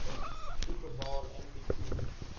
super bowl mvp